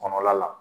Kɔnɔla la